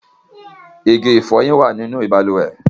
Ìgì-ìfọ́yin wa nínu bàlúwè.